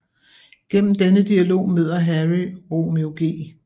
Gennem denne dialog møder Harry Romeo G